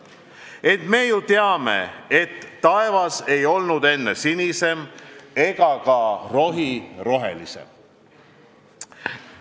Ent me ju teame, et taevas ei olnud enne sinisem ega ka rohi rohelisem.